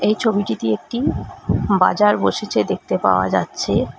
এই ছবিটিতে একটি বাজার বসেচে দেখতে পাওয়া যাচ্ছে।